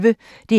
DR P1